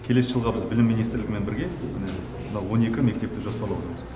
келесі жылға біз білім министрлігімен бірге міне мынау он екі мектепті жоспарлап отырмыз